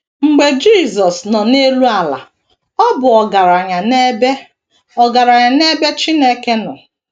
Mgbe Jisọs nọ n’elu ala, ọ bụ “ ọgaranya n’ebe “ ọgaranya n’ebe Chineke nọ. ”